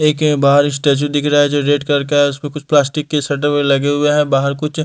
एक बाहर स्टैचू दिख रहा है जो रेड कलर का है उसमें कुछ प्लास्टिक के सेंटर में लगे हुए हैं बाहर कुछ--